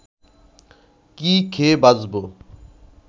কি খেয়ে বাঁচব